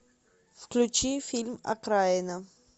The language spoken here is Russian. включи фильм окраина